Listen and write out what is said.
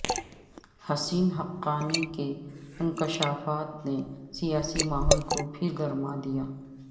حسین حقانی کے انکشافات نے سیاسی ماحول کو پھر گرما دیا